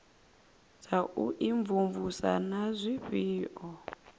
dza u imvumvusa na zwifhao